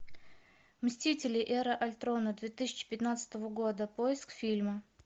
мстители эра альтрона две тысячи пятнадцатого года поиск фильма